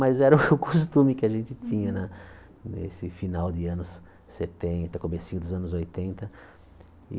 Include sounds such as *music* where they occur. Mas era o *laughs* costume que a gente tinha na nesse final de anos setenta, comecinho dos anos oitenta.